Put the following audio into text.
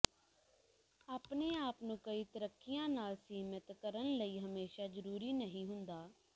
ਆਪਣੇ ਆਪ ਨੂੰ ਕਈ ਤਰੀਕਿਆਂ ਨਾਲ ਸੀਮਿਤ ਕਰਨ ਲਈ ਹਮੇਸ਼ਾ ਜ਼ਰੂਰੀ ਨਹੀਂ ਹੁੰਦਾ